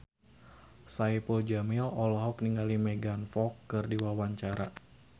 Saipul Jamil olohok ningali Megan Fox keur diwawancara